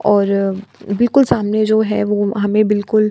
और बिलकुल सामने जो है हमें बिलकुल --